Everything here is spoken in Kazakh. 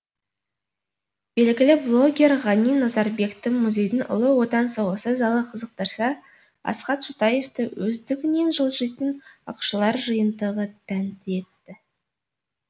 белгілі блогер ғани назарбекті музейдің ұлы отан соғысы залы қызықтырса асхат шотаевті өздігенен жылжитын ақшалар жиынтығы тәнті етті